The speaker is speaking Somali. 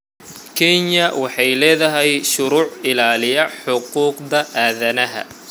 Kenya waxay leedahay shuruuc ilaaliya xuquuqda aadanaha.